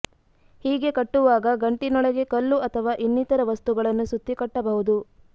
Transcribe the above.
ಹೀಗೆ ಕಟ್ಟುವಾಗ ಗಂಟಿನೊಳಗೆ ಕಲ್ಲು ಅಥವಾ ಇನ್ನಿತರ ವಸ್ತುಗಳನ್ನು ಸುತ್ತಿ ಕಟ್ಟಬಹುದು